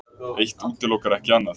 Eitt útilokar ekki annað.